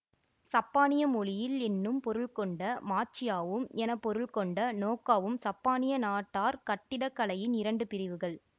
சப்பானிய மொழியில் என்னும் பொருள்கொண்ட மாச்சியா வும் என பொருள்கொண்ட நோக்கா வும் சப்பானிய நாட்டார் கட்டிடக்கலையின் இரண்டு பிரிவுகள்